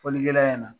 Fɔlikɛla ɲɛna